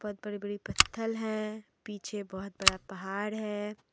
बहुत बड़े बड़े पत्थल है पीछे बहुत बड़ा पहाड़ है।